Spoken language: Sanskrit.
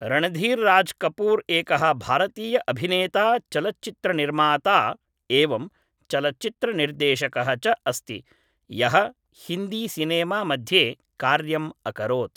रणधीर् राज् कपूर् एकः भारतीय अभिनेता चलच्चित्रनिर्माता एवं चलच्चित्रनिर्देशकः च अस्ति यः हिन्दीसिनेमा मध्ये कार्यम् अकरोत्